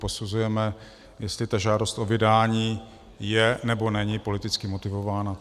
Posuzujeme, jestli ta žádost o vydání je, nebo není politicky motivována.